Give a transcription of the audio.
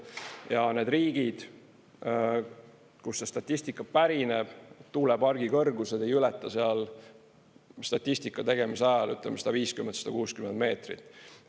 Ja need riigid, kust see statistika pärineb, tuulepargi kõrgused ei ületa seal statistika tegemise ajal, ütleme, 150–160 meetrit.